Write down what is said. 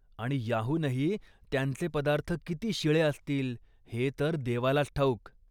आणि याहूनही, त्यांचे पदार्थ किती शिळे असतील हे तर देवालाच ठाऊक.